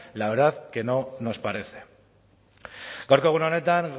la verdad que no nos parece gaurko egun honetan